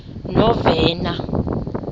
novena